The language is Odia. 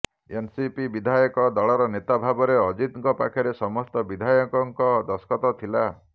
ଏନସିପି ବିଧାୟକ ଦଳର ନେତା ଭାବରେ ଅଜିତଙ୍କ ପାଖରେ ସମସ୍ତ ବିଧାୟକଙ୍କ ଦସ୍ତଖତ ଥିଲା